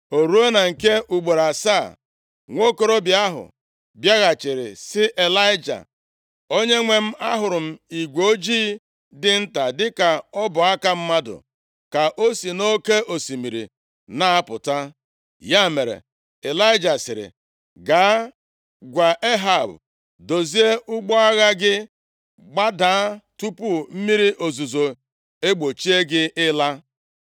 O ruo na nke ugboro asaa, nwokorobịa ahụ bịaghachiri sị Ịlaịja, “Onyenwe m, ahụrụ m igwe ojii dị nta dịka ọbụ aka mmadụ ka o si nʼoke osimiri na-apụta.” Ya mere, Ịlaịja sịrị, “Gaa gwa Ehab, ‘dozie ụgbọ agha gị, gbadaa tupu mmiri ozuzo egbochi gị ịla.’ ”